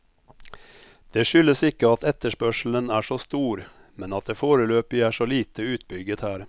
Det skyldes ikke at etterspørselen er så stor, men at det foreløpig er så lite utbygget her.